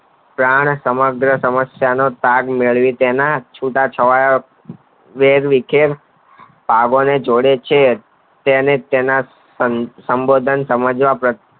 પ્રાણ તેના સમગ્ર સમસ્યા નો ભાગ મેળવી તેના છુટા છવાયા વેર વિખેર પાવન જોડો છે તેને તેના સંબોધન સમજવા